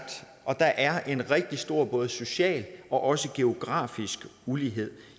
og der er en rigtig stor både social og også geografisk ulighed